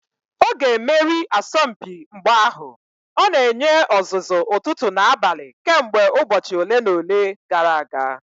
Ọ ga-emeri asọmpi mgba ahụ; ọ na-enye ọzụzụ ụtụtụ na abalị kemgbe ụbọchị ole na ole gara aga